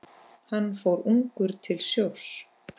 Hann fór ungur til sjós.